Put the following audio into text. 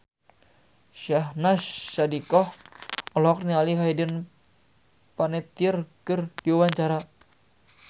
Syahnaz Sadiqah olohok ningali Hayden Panettiere keur diwawancara